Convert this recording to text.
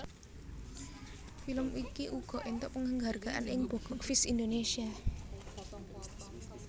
Film iki uga éntuk penghargaan ing box office Indonesia